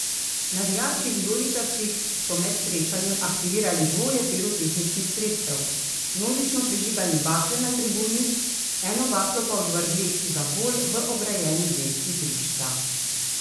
Navijači vijoličastih so med srečanjem aktivirali dvoje pirotehničnih sredstev, množično prižigali bakle na tribuni, eno baklo pa odvrgli za gol v ograjeni del igrišča.